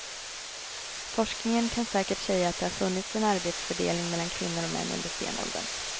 Forskningen kan ganska säkert säga att det har funnits en arbetsfördelning mellan kvinnor och män under stenåldern.